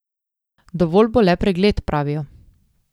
Dovolj bo le pregled, pravijo.